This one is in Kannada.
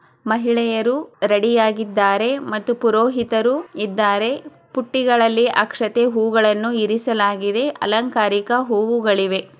ಮಹಿಳೆಯರು ರೆಡಿಯಾಗಿದ್ದಾರೆ ಮತ್ತು ಪ್ರೋಹಿತರು ಇದ್ದಾರೆ. ಬುಟ್ಟಿಗಲ್ಲಿ ಅಕ್ಷತೆ ಹೂಗಳನ್ನು ಇರಿಸಲಾಗಿದೆ ಅಲಂಕಾರಿಕ ಹೂವುಗಳಿವೆ.